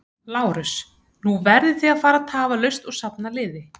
LÁRUS: Nú verðið þið að fara tafarlaust og safna liði.